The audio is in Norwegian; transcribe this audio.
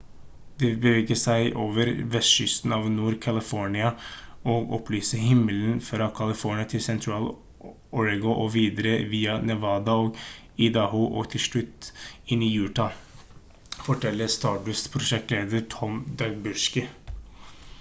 «det vil bevege seg over vestkysten av nord-california og opplyse himmelen fra california til sentral-oregon og videre via nevada og idaho og til slutt inn i utah» forteller stardust-prosjektleder tom duxbury